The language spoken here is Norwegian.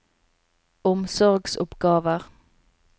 omsorgsoppgaver